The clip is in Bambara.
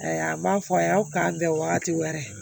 Ayiwa a b'a fɔ a ye aw ka bɛn wagati wɛrɛ